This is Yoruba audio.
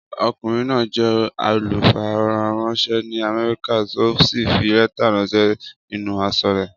Ọkùnrin náà jẹ́ olùfìwéránṣẹ́ ní Amẹ́ríkà ó sì fi lẹ́tà ránṣẹ́ nínú aṣọ rẹ̀.